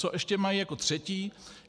Co ještě mají jako třetí.